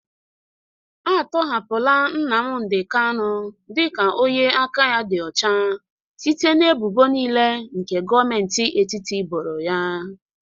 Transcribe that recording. Atọhapụla Nnamdị kanụ dị ka onye aka ya dị ọcha site n'ebubo niile nke Gọmenti etiti boro ya.